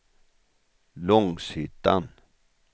Långshyttan